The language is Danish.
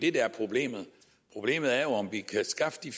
er problemet problemet er jo om vi kan skaffe de